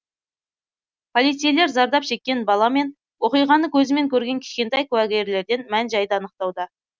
полицейлер зардап шеккен бала мен оқиғаны көзімен көрген кішкентай куәгерлерден мән жайды анықтауда